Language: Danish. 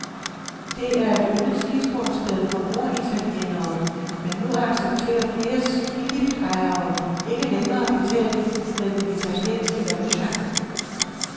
Det er et yndet skisportssted for norditalienere, men nu accepterer flere skiliftejere ikke længere betaling med den italienske valuta.